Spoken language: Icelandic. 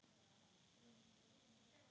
Hafliði hér.